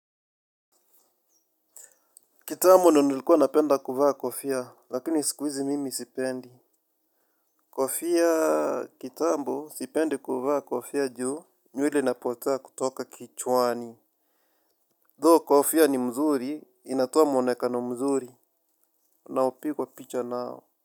Kitambo ndio nilikuwa napenda kuvaa kofia lakini sikuizi mimi sipendi. Kofia kitambo sipendi kuvaa kofia juu nywele inapotea kutoka kichwani. Though kofia ni mzuri inatoa mwonekano mzuri. Naopigwa picha nao.